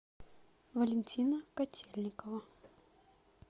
валентина котельникова